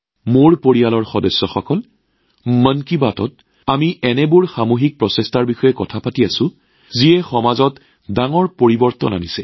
মোৰ পৰিয়ালৰ সদস্যসকল মন কী বাতত আমি এনে সামূহিক প্ৰচেষ্টাৰ বিষয়ে আলোচনা কৰি আহিছো যিয়ে সমাজত বৃহৎ পৰিৱৰ্তন আনিছে